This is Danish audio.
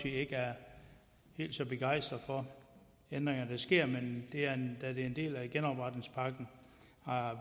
ikke er helt så begejstret for de ændringer der sker men det er en del af genopretningspakken har